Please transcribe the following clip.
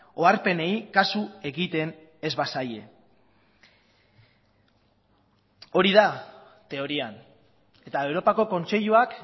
oharpenei kasu egiten ez bazaie hori da teorian eta europako kontseiluak